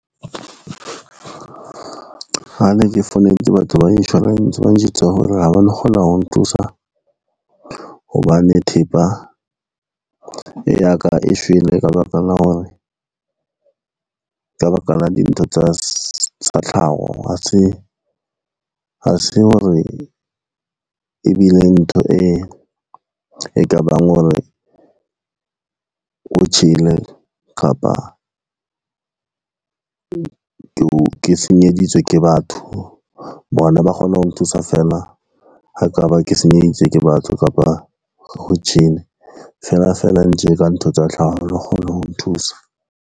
Ha ne ke founetse batho ba insurance, ba njwetsa hore ha ba no kgona ho nthusa, hobane thepa ya ka e shwele ka baka la dintho tsa tlhaho, ha se hore e bile ntho e kabang hore ho tjhele kapa ke senyeditse ke batho. Bona ba kgone ho nthusa fela, ha e ka ba ke senyeditswe ke batho kapa ho tjhele, fela fela tje ka ntho tsa tlhaho, ha ba no kgona ho nthusa.